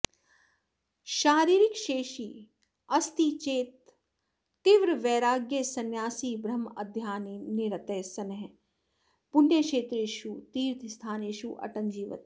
शारीरिक शेषि अस्ति चेत् तीव्रवैराग्यसंन्यासी ब्रह्मध्याननिरतः सन् पुण्यक्षेत्रेषु तीर्थस्थानेषु अटन् जीवति